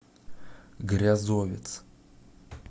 грязовец